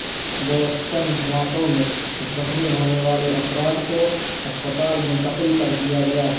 Boston دھماکوں میں زخمی ہونے والے افراد کو ہسپتال منتقل کر دیا گیا